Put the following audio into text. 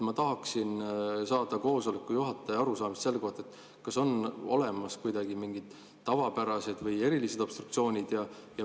Ma tahaksin saada koosoleku juhataja arusaamist selle kohta, kas on olemas mingid tavapärased ja erilised obstruktsioonid.